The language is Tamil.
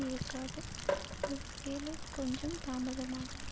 இருக்காது ஒருவேளை கொஞ்சம் தாமதமாகலாம்